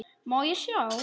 Má ég sjá?